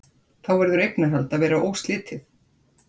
Þá verður eignarhald að vera óslitið.